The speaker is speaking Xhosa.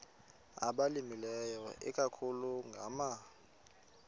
abalimileyo ikakhulu ngama